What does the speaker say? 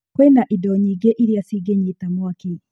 Kwĩna indo nyingĩ irĩa cingĩnyita mwaki.